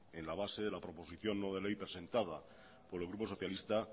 en la base de la proposición no de ley presentada por el grupo socialista